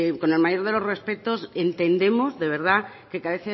que con el mayor de los respetos entendemos de verdad que a